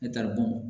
Ne tali